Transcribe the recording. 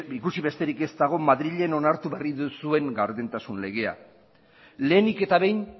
ikusi besterik ez dago madrilen onartu berri duzuen gardentasun legea lehenik eta behin